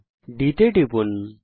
বিন্দু D তে টিপুন